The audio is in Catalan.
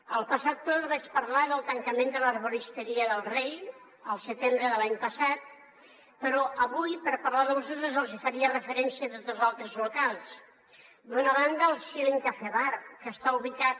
el passat ple els vaig parlar del tancament de l’herboristeria del rei al setembre de l’any passat però avui per parlar dels usos els hi faria referència a dos altres locals d’una banda el schilling cafè bar que està ubicat